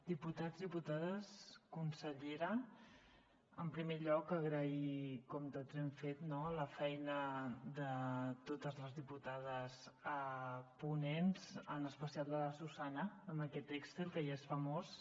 diputats diputades consellera en primer lloc agrair com tots hem fet no la feina de totes les diputades ponents en especial de la susanna amb aquest excel que ja és famós